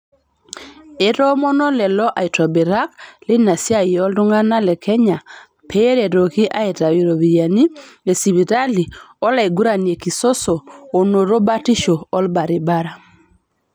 Etoomono lelo aitobirak leina siiai iltung'anak le Kenya peretoki aitayiu iropiyiani esipitali olaigurani kisoso onoto batisho olbaribara